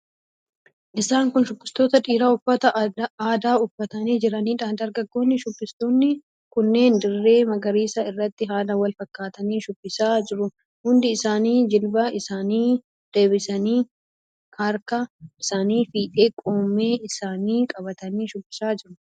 Isaan kun shubbistoota dhiiraa uffata aadaa uffatanii jiraniidha. Dargaggoonni shubbistoonni kunneen dirree magariisa irratti haala wal fakkaataatiin shubbisaa jiru. Hundi isaanii jilba isaanii dabsanii, harka isaanii fiixee qomee isaanii qabatanii shubbisaa jiru.